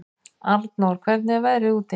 Anor, hvernig er veðrið úti?